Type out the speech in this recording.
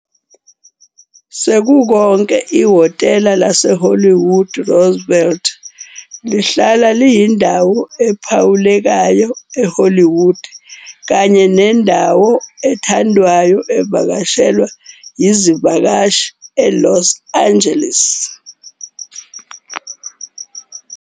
Sekukonke, Ihhotela laseHollywood Roosevelt lihlala liyindawo ephawulekayo e-Hollywood kanye nendawo ethandwayo evakashelwa izivakashi e-Los Angeles.